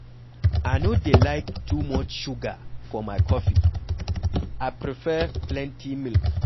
I no dey like too much sugar for my coffee, I prefare plenty milk.